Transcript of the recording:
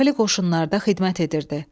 Daxili Qoşunlarda xidmət edirdi.